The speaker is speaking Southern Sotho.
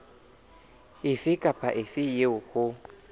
efe kapa efe eo ho